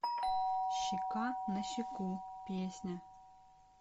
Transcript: щека на щеку песня